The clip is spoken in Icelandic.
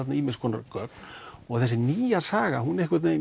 ýmis konar gögn og þessi nýja saga hún